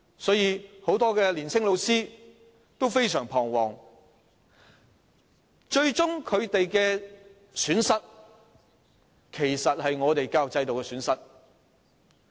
所以，很多年青老師都非常彷徨，而最終若我們失去了這些老師，其實是教育制度的損失。